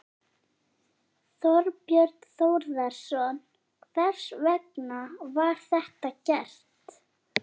Þorbjörn Þórðarson: Hvers vegna var þetta gert?